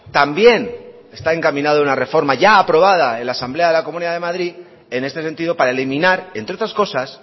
también está encaminado una reforma ya aprobada en la asamblea de la comunidad de madrid en este sentido para eliminar entre otras cosas